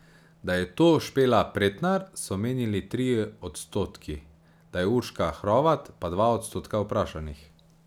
Da je to Špela Pretnar, so menili trije odstotki, da je Urška Hrovat, pa dva odstotka vprašanih.